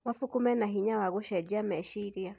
Mabuku mena hinya wa gũcenjia meciria.